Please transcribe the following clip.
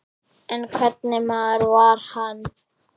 En hvernig maður var hann?